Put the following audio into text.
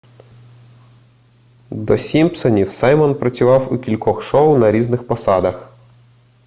до сімпсонів саймон працював у кількох шоу на різних посадах